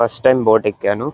First time boat ఎక్కాను.